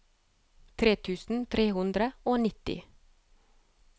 tre tusen tre hundre og nitti